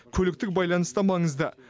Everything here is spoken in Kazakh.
көліктік байланыс та маңызды